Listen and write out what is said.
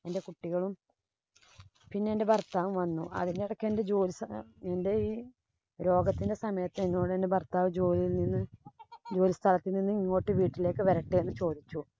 എന്‍റെ കുട്ടികളും പിന്നെ എന്‍റെ ഭര്‍ത്താവും വന്നു. അതിനിടയ്ക്ക് എന്‍റെ ജോലിസ്ഥലം എന്‍റെ ഈ രോഗത്തിന്‍റെ സമയത്ത് എന്നോട് എന്‍റെ ഭര്‍ത്താവ് ജോലിയില്‍ നിന്ന് ജോലിസ്ഥലത്ത് നിന്ന് ഇങ്ങോട്ട് വീട്ടിലേക്കു വരട്ടെ എന്ന് ചോദിച്ചു.